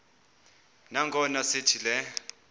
nangona sithi le